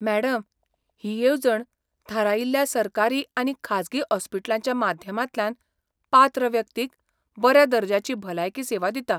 Madam, ही येवजण थारायिल्ल्या सरकारी आनी खाजगी हॉस्पिटलांच्या माध्यमांतल्यान पात्र व्यक्तीक बऱ्या दर्ज्याची भलायकी सेवा दिता.